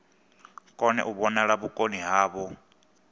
kone u vhonala vhukoni havho